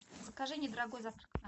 закажи недорогой завтрак